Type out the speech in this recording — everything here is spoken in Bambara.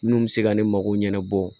Minnu bɛ se ka ne mako ɲɛnabɔ